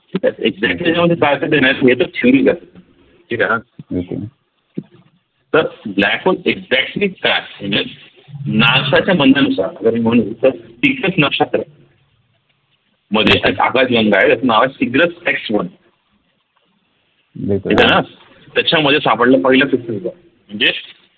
NASA च्या म्हणण्यानुसार पूर्वी म्हणत होत नक्षत्र मध्ये एक आकाशगंगा आहे त्याच नाव आहे CygnusXone त्याच्यामध्ये सापडल पहिल